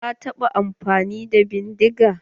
Ka taɓa amfani da bindiga?